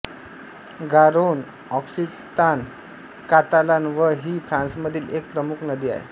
गारोन Occitan Catalan व ही फ्रान्समधील एक प्रमुख नदी आहे